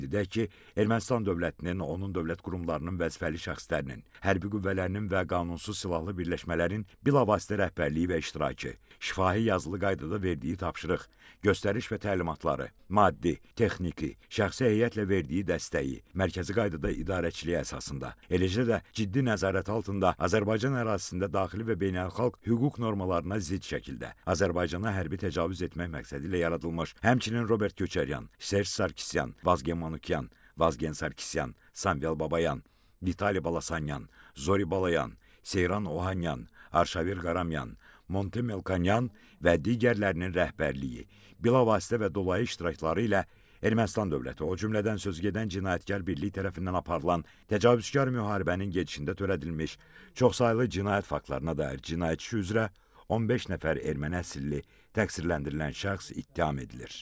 Qeyd edək ki, Ermənistan dövlətinin, onun dövlət qurumlarının vəzifəli şəxslərinin, hərbi qüvvələrinin və qanunsuz silahlı birləşmələrin bilavasitə rəhbərliyi və iştirakı, şifahi, yazılı qaydada verdiyi tapşırıq, göstəriş və təlimatları, maddi, texniki, şəxsi heyətlə verdiyi dəstəyi, mərkəzi qaydada idarəçilik əsasında, eləcə də ciddi nəzarət altında Azərbaycan ərazisində daxili və beynəlxalq hüquq normalarına zidd şəkildə Azərbaycanı hərbi təcavüz etmək məqsədi ilə yaradılmış, həmçinin Robert Köçəryan, Serj Sarkisyan, Vazgen Manyan, Vazgen Sarkisyan, Sambel Babayan, Vitali Balasanyan, Zori Balayan, Seyran Ohanyan, Arşavir Qaramyan, Monte Melkonyan və digərlərinin rəhbərliyi, bilavasitə və dolayı iştirakları ilə Ermənistan dövləti, o cümlədən sözügedən cinayətkar birlik tərəfindən aparılan təcavüzkar müharibənin gedişində törədilmiş çoxsaylı cinayət faktlarına dair cinayət işi üzrə 15 nəfər erməni əsilli təqsirləndirilən şəxs ittiham edilir.